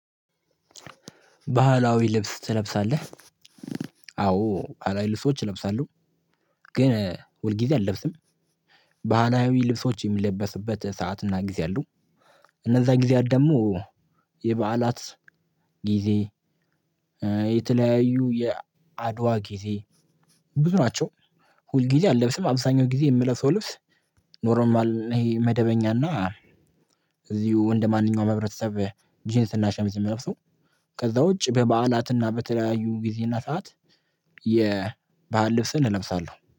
ባህላዊ ልብስ ትለብሳለህ? አዎ ባህላዊ ልብሶች እለብሳለሁ። ግን ሁልጊዜ አለብስም። ባህላዊ ልብሶች ሚለበስበት ስዓትና ጊዜ አሉ። እነዛ ጊዜያት ደግሞ የበዓላት ጊዜ። የተለያዩ የአድዋ ጊዜ ብዙ ናቸው። ሁል ጊዜ አለብስም አብዛኛው ጊዜ የምለብሰው ልብስ። ኖሮም ይሄ መደበኛና እዚሁ ወንድ ማንኛውም ህብረተሰብ ጂንስ እና ሸምዝ ምለብሰው። ከዛ ውጪ በበዓላትና በተለያዩ ጊዜና ሰዓት። የባህል ልብስን እለብሳለሁ